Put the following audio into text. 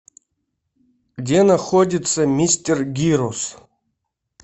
где находится мистер гирос